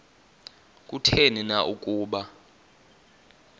kutheni na ukuba